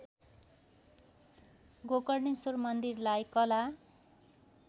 गोकर्णेश्वर मन्दिरलाई कला